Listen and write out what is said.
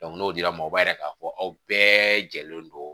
n'o dira u b'a yira k'a fɔ aw bɛɛ jɛlen don